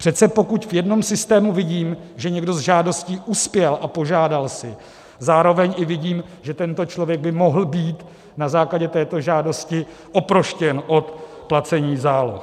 Přece pokud v jednom systému vidím, že někdo s žádostí uspěl a požádal si, zároveň i vidím, že tento člověk by mohl být na základě této žádosti oproštěn od placení záloh.